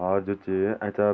और जू च ऐंचा --